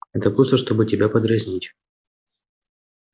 это просто чтобы тебя подразнить